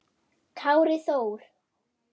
Kári Þór.